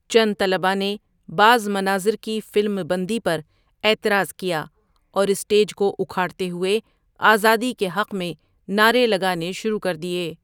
چند طلباء نے بعض مناظر کی فلم بندی پر اعتراض کیا اور اسٹیج کو اکھاڑتے ہوئے 'آزادی کے حق میں' نعرے لگانے شروع کر دیے۔